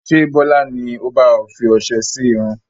Ṣé Bọlá ni ó ba ẹ fi ọsẹ sì irun?